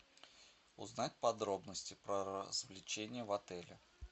узнать подробности про развлечения в отеле